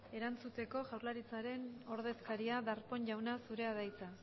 erantzuteko jaurlaritzaren ordezkaria darpón jauna zurea da hitza